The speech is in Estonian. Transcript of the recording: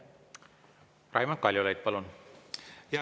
Raimond Kaljulaid, palun!